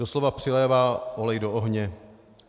Doslova přilévá olej do ohně.